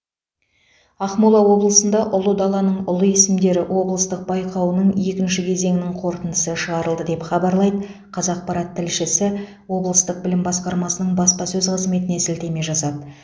ақмола облысында ұлы даланың ұлы есімдері облыстық байқауының екінші кезеңінің қорытындысы шығарылды деп хабарлайды қазақпарат тілшісі облыстық білім басқармасының баспасөз қызметіне сілтеме жасап